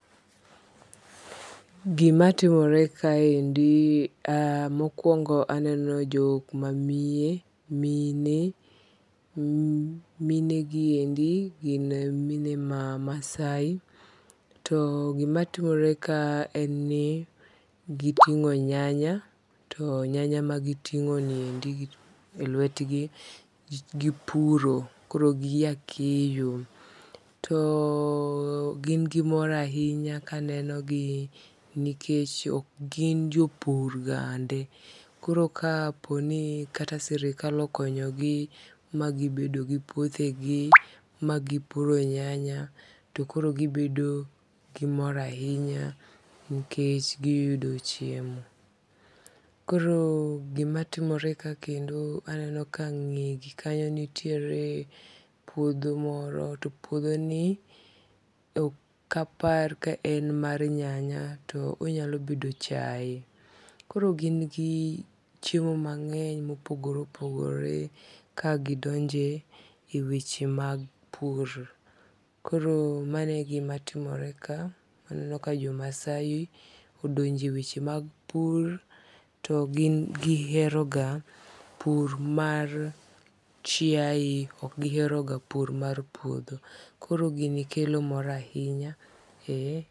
imatimore kaendi mokwongo aneno jokma mine. mine giendi gin mine ma maasai to gimatimore ka en ni giting'o nyanya to nyanya magiting'o e lwetgi gipuro koro ginyaa keyo to gin gi mor ahinya kanenogi nikech ok gin jopur gande koro kapo ni kata sirikal okonyogi magibedo gi puothe gii magipuro nyanya to koro gibedo gimor ahinya nikech giyudo chiemo . Tokoro gimatimore ka kendo aneno ka nge gi kanyo nitiere puodho moro to puodho ni okapar kaen mar nyanya to onyalo bedo chae koro gin gi chiemo mangeny mopogore opogore kagidonje weche mag pur koro mane gimatimore kaa aneno ka jo maasai odonje weche mag pur to gin gihero ga pur mar chiaye ok gihero ga pur mar puodho koro gini kelo mor ahinya